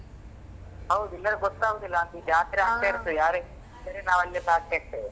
ಹೌದು ಇಲ್ಲಾಂದ್ರೆ ಗೊತ್ತಾಗುದಿಲ್ಲ ಜಾತ್ರೆ ಆಗ್ತಾ ಇರ್ತದೆ ನಾವಲ್ಲಿ ಇರ್ತೇವೆ.